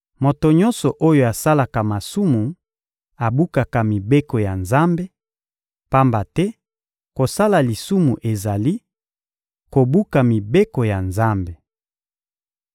Moto nyonso oyo asalaka masumu abukaka mibeko ya Nzambe; pamba te kosala lisumu ezali: kobuka mibeko ya Nzambe.